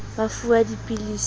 ba fuwe dipilisi ha ba